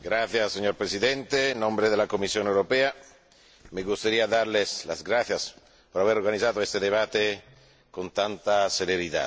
Señor Presidente, en nombre de la Comisión Europea me gustaría darle las gracias por haber organizado este debate con tanta celeridad.